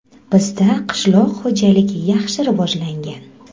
Bizda qishloq xo‘jaligi yaxshi rivojlangan.